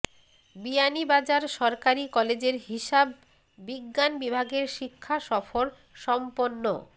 বিয়ানীবাজার সরকারি কলেজের হিসাব বিজ্ঞান বিভাগের শিক্ষা সফর সম্পন্ন